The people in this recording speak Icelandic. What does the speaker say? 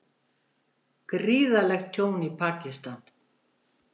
Gríðarlegt tjón í Pakistan